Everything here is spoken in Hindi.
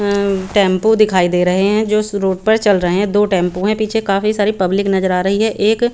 हम्म टेम्पू दिखाई दे रहे है जो इस रोड पर चल रहे है दो टेम्पू है पीछे काफी सारी पब्लिक नज़र आरही है एक--